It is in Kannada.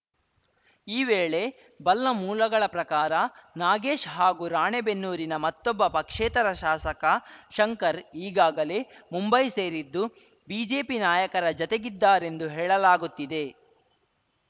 ಇವೇಳೆ ಬಲ್ಲ ಮೂಲಗಳ ಪ್ರಕಾರ ನಾಗೇಶ್‌ ಹಾಗೂ ರಾಣೆಬೆನ್ನೂರಿನ ಮತ್ತೊಬ್ಬ ಪಕ್ಷೇತರ ಶಾಸಕ ಶಂಕರ್‌ ಈಗಾಗಲೇ ಮುಂಬೈ ಸೇರಿದ್ದು ಬಿಜೆಪಿ ನಾಯಕರ ಜತೆಗಿದ್ದಾರೆಂದು ಹೇಳಲಾಗುತ್ತಿದೆ